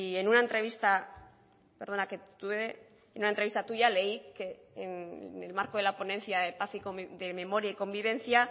en una entrevista tuya leí que en el marco de la ponencia de memoria y convivencia